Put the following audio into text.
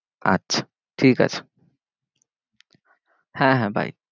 আচ্ছা ঠিক আছে হ্যাঁ হ্যাঁ bye